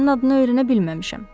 Sənin adını öyrənə bilməmişəm.